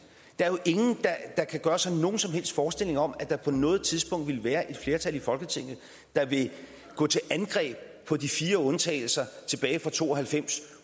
der er jo ingen der kan gøre sig nogen som helst forestilling om at der på noget tidspunkt vil være et flertal i folketinget der vil gå til angreb på de fire undtagelser tilbage fra nitten to og halvfems